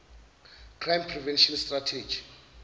crime prevention strategy